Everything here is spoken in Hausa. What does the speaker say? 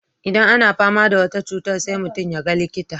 Idan ana fama da wata cutar sai mutum ya ga likita.